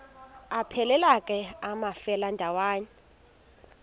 aphelela ke amafelandawonye